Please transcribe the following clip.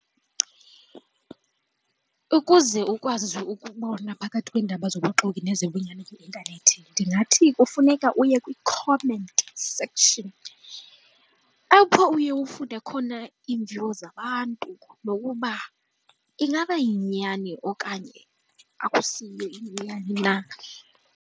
Ukuze ukwazi ukubona phakathi kweendaba zabuxoki nezobunyani kwi-intanethi ndingathi kufuneka uye kwi-comment section apho uye ufunde khona iimviwo zabantu nokuba ingaba yinyani okanye akusiyiyo inyani na.